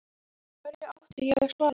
Hverju átti ég að svara?